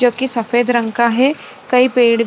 जो कि सफेद रंग का है कई पेड़ --